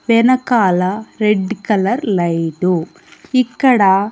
వెనకాల red colour light ఇక్కడ--